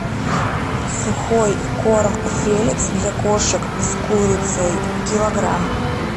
сухой корм феликс для кошек с курицей килограмм